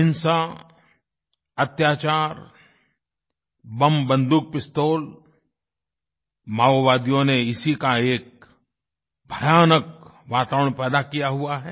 हिंसा अत्याचार बम बन्दूक पिस्तौल माओवादियों ने इसी का एक भयानक वातावरण पैदा किया हुआ है